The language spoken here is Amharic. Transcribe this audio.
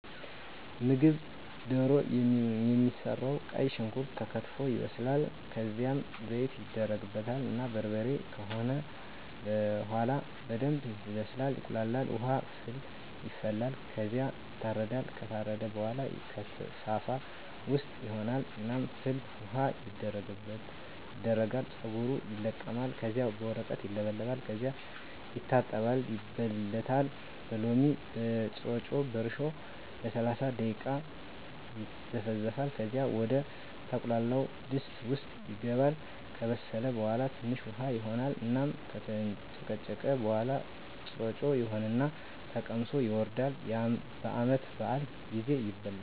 ምግብ ደሮ የሚሰራዉ ቀይ ሽንኩርት ተከትፎ ይበስላል ከዝያም ዘይት ይደረግበታል እና በርበሬ ከሆነ በሆላ በደንብ ይበስላል ይቁላላል። ዉሀ ፍል ይፈላል ከዝያ ይታረዳል። ከታረደ በሆላ ከሳፋ ዉስጥ ይሆን እና ፍል ዉሀዉ ይደረጋል ፀጉሩ ይለቀማል ከዚያ በወረቀት ይለበለጣል ከዚያ ይታጠባል ይበለታል በሎሚ፣ በጥሮጮ፣ በእርሾ ለሰላሳ ደቂቃ ይዘፈዘፋል ከዚያ ወደ ተቁላላዉ ድስት ዉስጥ ይገባል። ከበሰለ በሆላ ትንሽ ዉሀ ይሆን እና ከተንጨቀጨቀ በሆላ ጥሮጮ ይሆን እና ተቀምሶ ይወርዳል። በዓመት በአል ጊዜ ይበላል።